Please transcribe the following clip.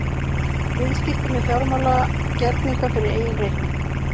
Viðskipti með fjármálagerninga fyrir eigin reikning.